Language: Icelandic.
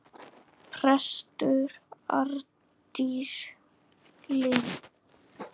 Prestur Arndís Linn.